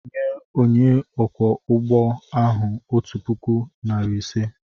Nye onye ọkwọ ụgbọ ahụ otu puku, narị ise!